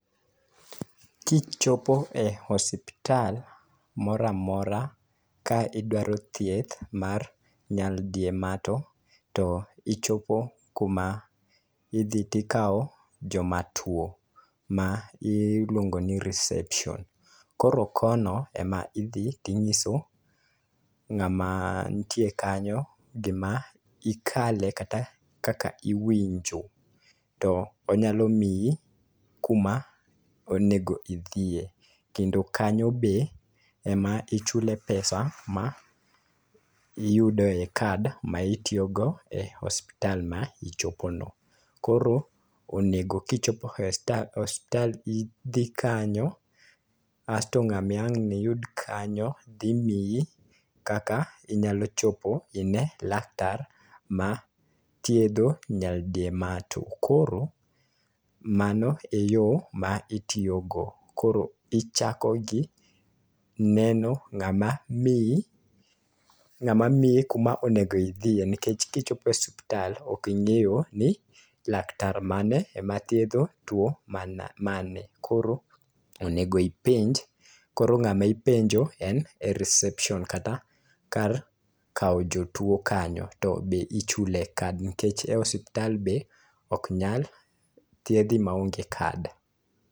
Kichopo e osiptal moro amora ka idwaro thieth mar nyaldiema to ichopo kuma idhi to ikawo jomatuo ma iluongo ni reception. Koro kono ema idhi to inyiso ng'ama nitie kanyo, gima ikale kata kaka iwinjo. To onyalo miyi kuma onego idhiye kendo kanyo be ema ichule pesa ma iyude kad ma itiyogono. Kasto ng'ama ang' niyud kanyo biro miyi kaka onego ichop ine laktar mathiedho nyaldiema. To koro mano eyo ma itiyogo. Koro ichako gi neno ng'ama miyi, ng'ama miyi kuma onego idhiye nikech kichopo e osiptal, ok ing'eyo ni laktar mane ma thiedho tuo mano koro onego ipenj. Koro ng'ama ipenjo en e reception be ichule kad, nikech e osiptal be ok nyal thiedhi maonge kad.